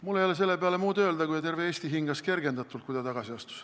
Mul ei ole selle peale muud öelda, kui et terve Eesti hingas kergendatult, kui ta tagasi astus.